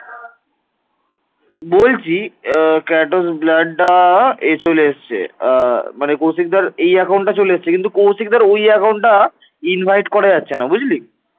আহ মানে কৌশিকদার এই account টা চলে এসেছে কিন্তু কৌশিকদার ওই account টা invite করা যাচ্ছে না বুঝলি?